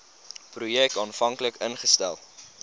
projek aanvanklik ingestel